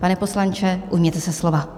Pane poslanče, ujměte se slova.